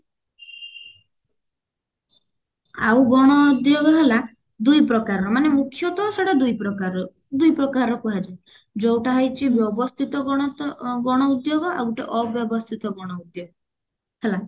ଆଉ ଗଣ ଉଦ୍ଯୋଗ ହେଲା ଦୁଇ ପ୍ରକାରର ମାନେ ମୁଖ୍ୟତ ସେଇଟା ଦୁଇ ପ୍ରକାରର ଦୁଇ ପ୍ରକାର କୁହାଯାଏ ଯୋଉଟା ହଉଛି ବ୍ୟବସ୍ଥିତ ଗଣ ତ ଗଣ ଉଦ୍ଯୋଗ ଆଉ ଗୋଟେ ଅବ୍ୟବସ୍ତିତ ଗଣ ଉଦ୍ଯୋଗ ହେଲା